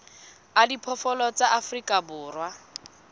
a diphoofolo tsa afrika borwa